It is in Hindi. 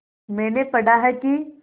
मैंने पढ़ा है कि